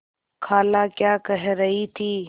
खाला क्या कह रही थी